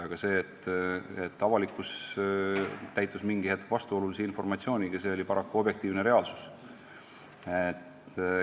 Aga see, et avalikkus täitus mingi hetk vastuolulise informatsiooniga, oli paraku objektiivne reaalsus.